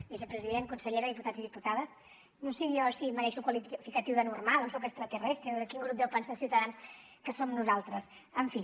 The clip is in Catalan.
vicepresident consellera diputats i diputades no sé jo si em mereixo el qualificatiu de normal o soc extraterrestre o de quin grup deu pensar ciutadans que som nosaltres en fi